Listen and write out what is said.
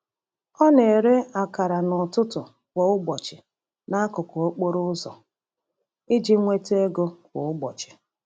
Ọ na-ere akara n’ututu kwa ụbọchị n’akụkụ okporo ụzọ iji nweta ego kwa ụbọchị.